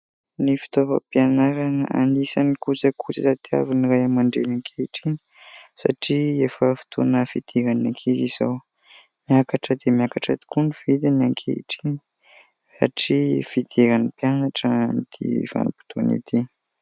Ny fitaovam-pianarana anisany kojakoja tadiavin'nyray aman-dreny ankehitriny satria efa foitoana fidiran'ny ankizy izao. Miakatra dia miakatra tokoa ny vidiny ankehitriny satria fidiran'ny mpianatra amin'ity vanim-potoana ity.